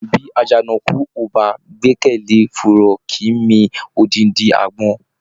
Bí àjànàkú o bá gbẹ́kẹlé fùrọ, kìí mi òdindi àgbọn.